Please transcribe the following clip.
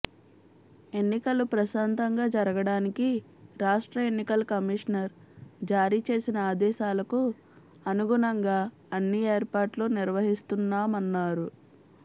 ఎన్నికలు ప్రశాంతంగా జరగడానికి రాష్ట్ర ఎన్నికల కమిషన్ జారీ చేసిన ఆదేశాలకు అనుగుణంగా అన్ని ఏర్పాట్లు నిర్వహిస్తున్నామన్నారు